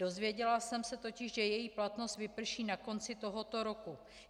Dozvěděla jsem se totiž, že její platnost vyprší na konci tohoto roku.